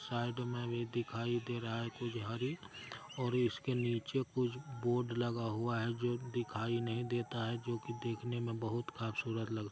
side में भी दिखाई दे रहा है और इसके नीचे कुछ बोर्ड लगा हुआ है जो दिखाई नहीं देता है जो कि देखने में बहुत खबसूरत लग--